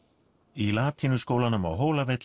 í latínuskólanum á